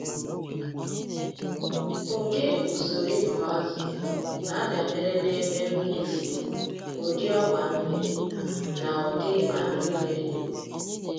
Ụdị usoro ịkụ azụ na-adabere na ebe mmiri si, ụdị ọgba mmiri, na ụdị anụ mmiri.